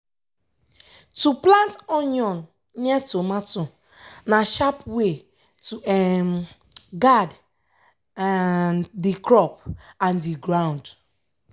to plant onion near tomato na sharp way to um guard um the crop and the ground.